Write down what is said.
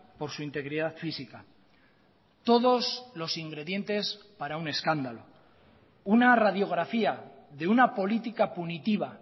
por su integridad física todos los ingredientes para un escándalo una radiografía de una política punitiva